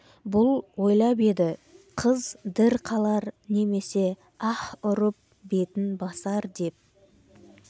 бұл ойлап еді қыз дір қалар немесе аһ ұрып бетін басар деп